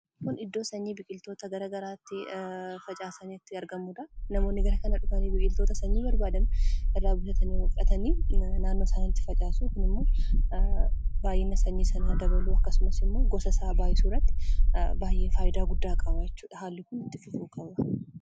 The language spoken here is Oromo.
Kun iddoo sanyiin biqiltoota gara garaa itti facaasani itti argamanidha. Namoonni gara kana dhufanii biqiltoota sanyii barbaadan irraa bitatanii naannoo isaanitti facaasu, kuni ammoo baay'ina sanyii sanaa dabaluu, akkasuma ammoo gosa isaa baay'isuu irratti baay'ee faayidaa hedduu qaba jechuudha.